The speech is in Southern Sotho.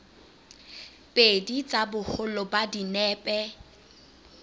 pedi tsa boholo ba dinepe